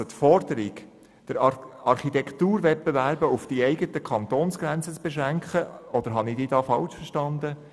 Die Forderung, Architekturwettbewerbe auf die Kantonsgrenzen zu beschränken – oder habe ich Sie falsch verstanden?